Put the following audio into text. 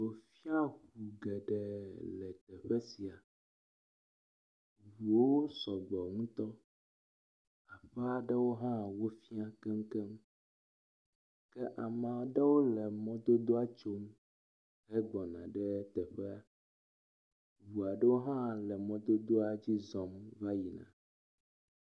…ŋu geɖee le teƒe sia, ŋuwo sɔgbɔ ŋutɔ, aƒea ɖewo hã wofia keŋkeŋ. Ke ame aɖewo le mɔdodoa tsom hegbɔna ɖe teƒea, ŋu aɖewo hã le mɔdodoa dzi zɔm va yina.